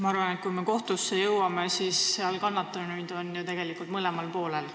Ma arvan, et kui kohtusse jõutakse, siis on kannatanuid tegelikult mõlemal poolel.